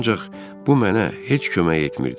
Ancaq bu mənə heç kömək etmirdi.